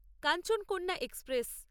Kanchankanya express